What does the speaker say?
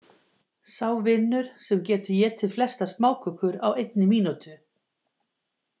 Sá vinnur sem getur étið flestar smákökur á einni mínútu.